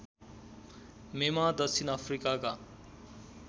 मेमा दक्षिण अफ्रिकाका